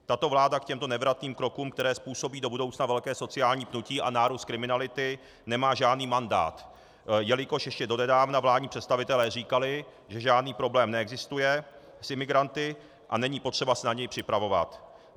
Tato vláda k těmto nevratným krokům, které způsobí do budoucna velké sociální pnutí a nárůst kriminality, nemá žádný mandát, jelikož ještě donedávna vládní představitelé říkali, že žádný problém neexistuje s imigranty a není potřeba se na něj připravovat.